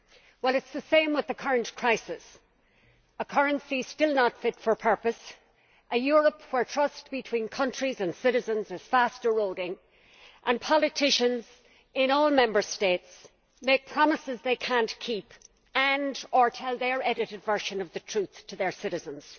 Well it is the same with the current crisis a currency still not fit for purpose, a Europe where trust between countries and citizens is fast eroding, and politicians in all Member States make promises they cannot keep and or tell their edited version of the truth to their citizens.